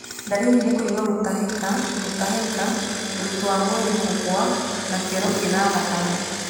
Ndariri nĩ kũigua gũtahĩka, gũtahĩka, ũritũ wa mwĩrĩ kũgũa na kĩoro kĩna thakame.